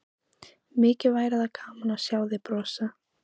Mikið væri þá gaman að sjá þig brosa!